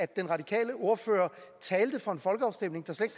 den radikale ordfører talte for en folkeafstemning der slet